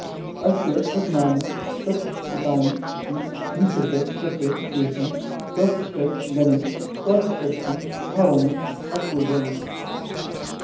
अस्य वचनानि सत्यपूतानि इति निश्चित्य तत्र केचन स्वस्य गणे स्वीकर्तुम् आह्वानम् अकुर्वन्